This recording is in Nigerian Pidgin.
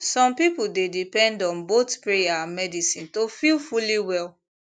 some people dey depend on both prayer and medicine to feel fully well